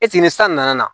ni san nana